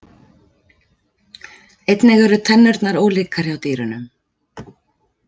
Einnig eru tennurnar ólíkar hjá dýrunum.